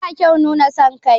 Ba kyau nuna son kai.